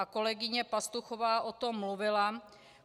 A kolegyně Pastuchová o tom mluvila.